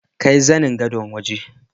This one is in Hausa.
Kai zanin Gadon waje.